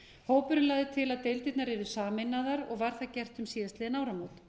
hópurinn lagði til að deildirnar yrðu sameinaðar og var það gert um síðastliðin áramót